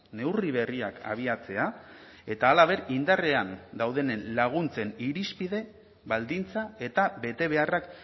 neurri berriak abiatzea eta halaber indarrean dauden laguntzen irizpide baldintza eta betebeharrak